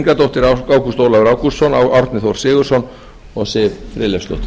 ingadóttir ágúst ólafur ágústsson árni þór sigurðsson og siv friðleifsdóttir